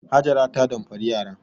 Hajara ta damfari yara.